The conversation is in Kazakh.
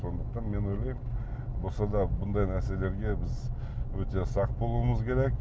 сондықтан мен ойлаймын болса да бұндай нәрселерге біз өте сақ болуымыз керек